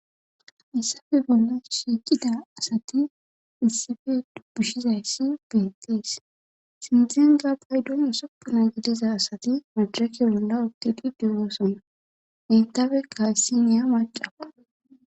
Hassappe bolla shiiqida asati issippe dubbushshizayssi beettees sinththenka payddon usuppuna gidiza asati madirekke bolla uttdi de'oosona henttapeka issiniya macakko